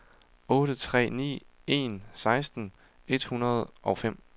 otte tre ni en seksten et hundrede og fem